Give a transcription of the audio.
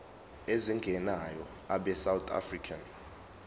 ezingenayo abesouth african